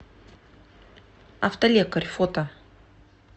автолекарь фото